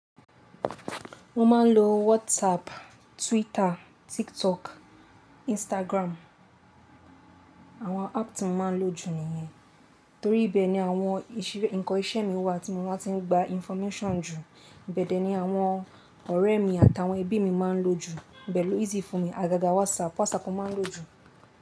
Mo máa ń lo WhatsApp, Twitter, TikTok, Instagram. Àwọn app tí mo máa ń lo jù nìyẹn. Torí ibẹ́ ni àwọn ìṣe, nǹkan isẹ́ mi wà tí mo máa tí ń gba information jù. Ìbẹ̀dẹ̀ ni àwọn ọ̀rẹ́ mi àtàwọn ẹbí mi máa ń lò jù. Ibe lo easy fún mi. Àgàgà WhatsApp, WhatsApp mo máa ń lò jù.